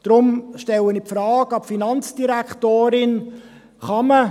Deshalb stelle ich der Finanzdirektorin die Frage: